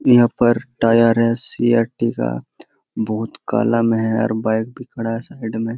यहाँ पर टायर है सी.आर.टी. का बहुत काला में है और बाइक भी खड़ा हैं साइड में --